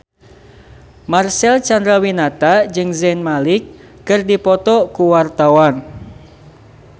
Marcel Chandrawinata jeung Zayn Malik keur dipoto ku wartawan